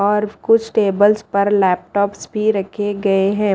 और कुछ टेबल्स पर लैपटॉप भी रखे गए हैं।